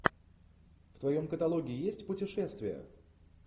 в твоем каталоге есть путешествия